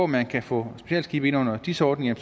man kan få specialskibe ind under dis ordningen